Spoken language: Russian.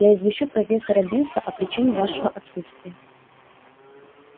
я извещу профессора бинса о причине вашего отсутствия